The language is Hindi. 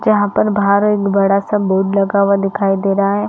जहाँ पर बाहर एक बड़ा- सा बोर्ड लगा हुआ दिखाई दे रहा है।